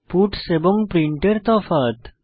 puts এবং print এর তফাৎ